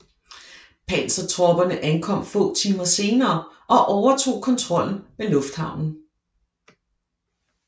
Pansertropperne ankom få timer senere og overtog kontrollen med lufthavnen